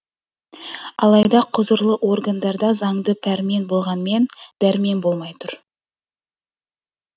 алайда құзырлы органдарда заңды пәрмен болғанмен дәрмен болмай тұр